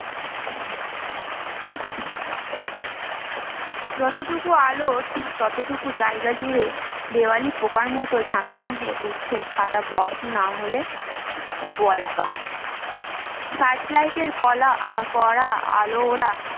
যতটুকু আলো, ঠিক ততটুকু জায়গা জুড়ে দেওয়ালির পোকার মতো ঝাঁকে ঝাঁকে উড়ছে সাদা বক না হলে বলাকা? searchlight এর কলা করা আলো ওরা